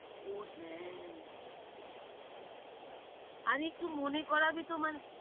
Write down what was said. ও হ্যাঁ, আরেহ একটু মনে করাবি তোমার~